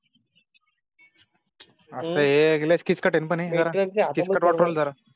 असं आहे लय किचकट आहे हे पण